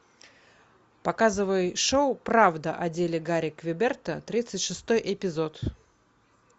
показывай шоу правда о деле гарри квеберта тридцать шестой эпизод